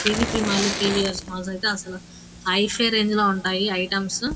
PVT mall P V S malls అసలు hifi range లో ఉంటాయి ఐటమ్స్ --